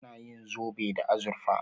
Ana yin zobe da azurfa.